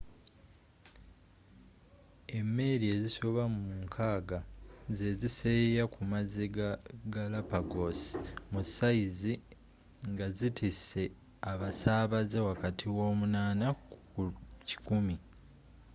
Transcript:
emeeri ezisoba mu 60 zeziseeyeya ku mazzi ga galapagos – mu sayizi ngazitise abasaabaze wakati wa 8 ku 100